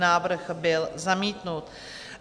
Návrh byl zamítnut.